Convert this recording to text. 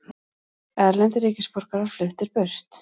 Erlendir ríkisborgarar fluttir burt